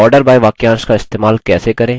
order by वाक्यांश का इस्तेमाल कैसे करें